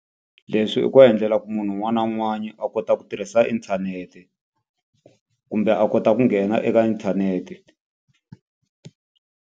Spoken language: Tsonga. Leswi i ku endlela ku munhu un'wana na un'wana a kota ku tirhisa inthanete, kumbe a kota ku nghena eka inthanete.